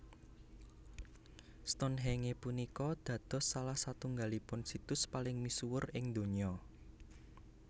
Stonhenge punika dados salah satunggalipun situs paling misuwur ing donya